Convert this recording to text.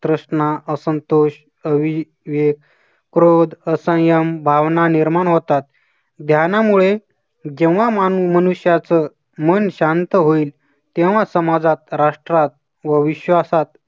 तृष्णा, असंतोष अवि विवेक क्रोध असंयम भावना निर्माण होतात. ध्यानामुळे जेव्हा माणूस मनुष्याचं मन शांत होईल तेव्हा समाजात, राष्ट्रात व विश्वासात